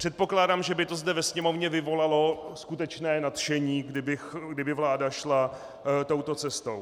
Předpokládám, že by to zde ve Sněmovně vyvolalo skutečné nadšení, kdyby vláda šla touto cestou.